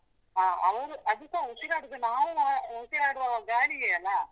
ಹಾ ಅವ್ರು, ಅದುಸ ಉಸಿರಾಡುದು ನಾವು ಉಸಿರಾಡುವ ಗಾಳಿಯೇ ಅಲಾ?